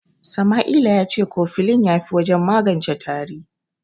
Sama'ila ya ce kofilin ya fi wajen magance tari.